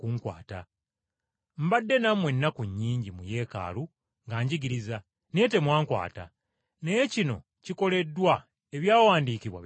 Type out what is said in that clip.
Mbadde nammwe ennaku nnyingi mu yeekaalu nga njigiriza, naye temwankwata. Naye kino kikoleddwa ebyawandiikibwa bituukirire.”